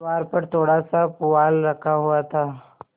द्वार पर थोड़ासा पुआल रखा हुआ था